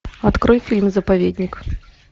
открой фильм заповедник